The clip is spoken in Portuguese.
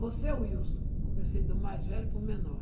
Você é o Wilson, comecei do mais velho para o menor.